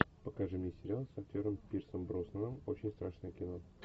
покажи мне сериал с актером пирсом броснаном очень страшное кино